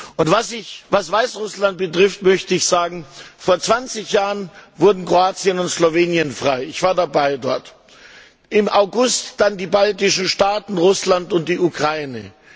Und was Weißrussland betrifft, möchte ich sagen, vor 20 Jahren wurden Kroatien und Slowenien frei ich war dort dabei im August dann die baltischen Staaten, Russland und die Ukraine.